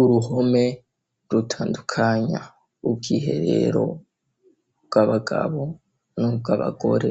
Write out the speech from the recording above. Uruhome rutandukanya ubwiherero bw'abagabo n'ubwo abagore